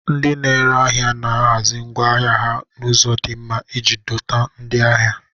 Ndị na-ere ahịa na-ahazi ngwa ahịa ha n'ụzọ di nma iji dọta ndị ahịa.